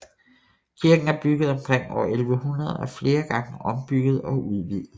Kirken er bygget omkring år 1100 og er flere gange ombygget og udvidet